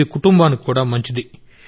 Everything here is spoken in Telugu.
ఇది కుటుంబానికి కూడా మంచిది